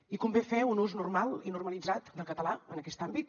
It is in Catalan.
i convé fer un ús normal i normalitzat del català en aquest àmbit